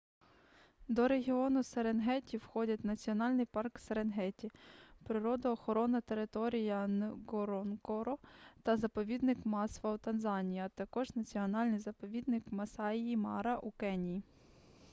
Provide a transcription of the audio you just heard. до регіону серенгеті входять національний парк серенгеті природоохоронна територія нґоронґоро та заповідник масва у танзанії а також національний заповідник масаї-мара у кенії